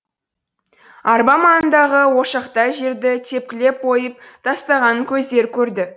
арба маңындағы ошақтай жерді тепкілеп ойып тастағанын көздері көрді